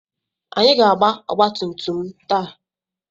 Anyị ga-agba ọgbatumtum m taa.